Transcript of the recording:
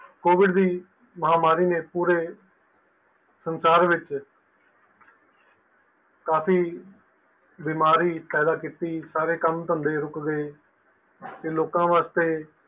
COVID ਦੀ ਮਹਾਮਾਰੀ ਨੇ ਪੂਰੇ ਸੰਸਾਰ ਵਿੱਚ ਕਾਫੀ ਬਿਮਾਰੀ ਪੈਦਾ ਕੀਤੀ ਸਾਰੇ ਕੰਮ ਧੰਦੇ ਰੁਕ ਗਏ ਤੇ ਲੋਕਾਂ ਵਾਸਤੇ